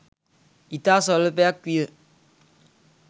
ඉතා ස්වල්පයක් විය.